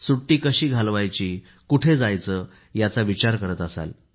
सुट्टी कशी घालवायची कुठे जायचे याचा विचार करत असाल